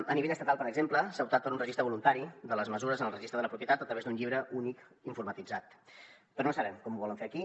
a nivell estatal per exemple s’ha optat per un registre voluntari de les mesures en el registre de la propietat a través d’un llibre únic informatitzat però no sabem com ho volen fer aquí